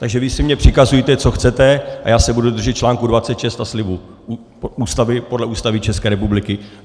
Takže vy si mně přikazujte, co chcete, a já se budu držet článku 26 a slibu podle Ústavy České republiky.